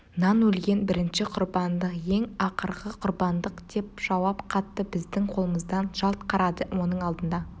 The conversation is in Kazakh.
нан өлген бірінші құрбандық ең ақырғы құрбандық деп жауап қатты біздің қолымыздан жалт қарады оның алдында